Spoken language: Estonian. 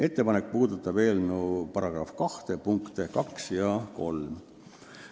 Ettepanek puudutab eelnõu § 2 punkte 2 ja 3.